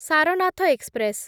Sarnath express